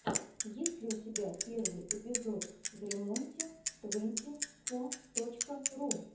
есть ли у тебя первый эпизод времонте твэнти фо точка ру